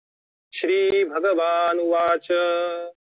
श्रीभगवानुवाच